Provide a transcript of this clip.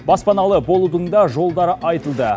баспаналы болудың да жолдары айтылды